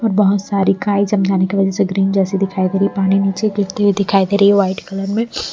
और बहुत सारी काई जम जाने की वजह से ग्रीन जैसी दिखाई दे रही है पानी नीचे गिरती हुई दिखाई दे रही है वाइट कलर में--